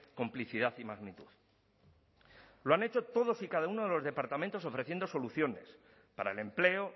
complicidad y magnitud lo han hecho todos y cada uno de los departamentos ofreciendo soluciones para el empleo